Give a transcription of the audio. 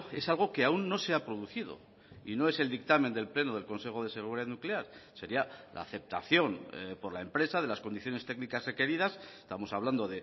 es algo que aún no se ha producido y no es el dictamen del pleno del consejo de seguridad nuclear sería la aceptación por la empresa de las condiciones técnicas requeridas estamos hablando